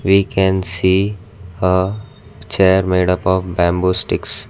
we can see a chair made up of bamboo sticks.